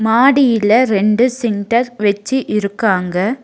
மாடியில ரெண்டு சின்டர் வெச்சி இருக்காங்க.